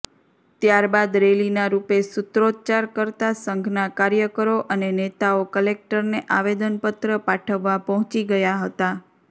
ત્યારબાદ રેલીના રૃપે સુત્રોચ્ચાર કરતા સંઘના કાર્યકરો અને નેતાઓ કલેકટરને આવેદનપત્ર પાઠવવા પહોંચી ગયા હતા